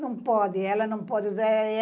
Não pode, ela não pode usar.